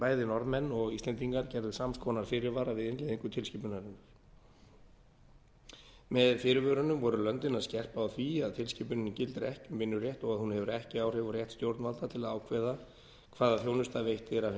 bæði norðmenn og íslendingar gerðu samskonar fyrirvara við innleiðingu tilskipunarinnar með fyrirvörunum voru löndin að skerpa á því að tilskipunin gildir ekki um vinnurétt og að hún hefur ekki áhrif á rétt stjórnvalda til að ákveða hvaða þjónusta veitt er af hinu